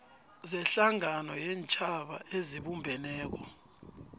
sehlangano yeentjhaba ezibumbeneko